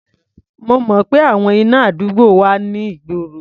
Mo mọ̀ pé àwọn iná àdúgbò wà ní ìgboro.